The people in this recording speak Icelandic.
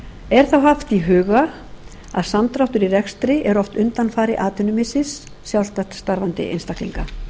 er þá haft í huga að samdráttur í rekstri er oft undanfari atvinnumissis sjálfstætt starfandi einstaklinga